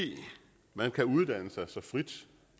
man kan uddanne sig så frit